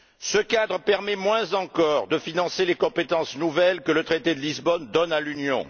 Ce cadre permet, moins encore, de financer les compétences nouvelles que le traité de Lisbonne donne à l'Union.